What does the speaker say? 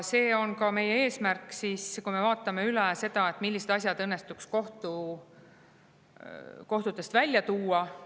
See on ka meie eesmärk, kui me vaatame, millised asjad õnnestuks kohtutest välja tuua.